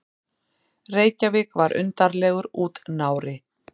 Reykjavík var undarlegur útnári.